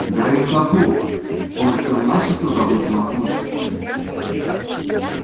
гарри вздохнул он успел начисто забыть о локонсе